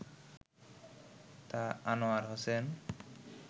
তা আনোয়ার হোসেন